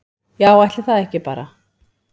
Já, ætli það ekki bara